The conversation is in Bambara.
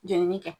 Jenini kɛ